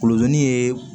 Kulodon ye